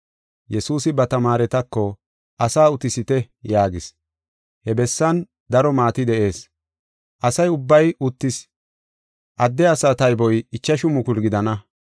Yesuusi ba tamaaretako, “Asaa utisite” yaagis. He bessan daro maati de7ees; asa ubbay uttis. Adde asaa tayboy ichashu mukulu gidana.